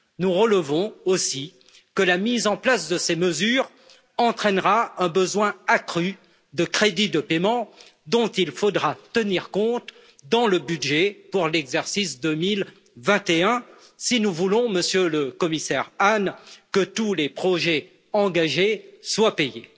Nous relevons aussi que la mise en place de ces mesures entraînera un besoin accru de crédits de paiement, dont il faudra tenir compte dans le budget pour l'exercice 2021 si nous voulons, Monsieur le Commissaire Hahn, que tous les projets engagés soit payés.